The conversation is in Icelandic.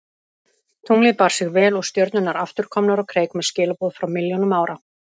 Tunglið bar sig vel og stjörnurnar aftur komnar á kreik með skilaboð frá milljónum ára.